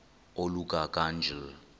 oluka ka njl